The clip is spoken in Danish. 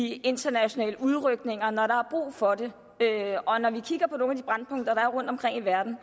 i internationale udrykninger når der er brug for det og når vi kigger på nogle af de brændpunkter der er rundtomkring i verden